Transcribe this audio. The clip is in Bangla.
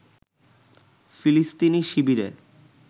ফিলিস্তিনি শিবিরে